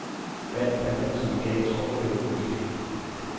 Vand planterne som en gal, så overlever de måske.